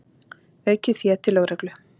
Aukið fé til lögreglu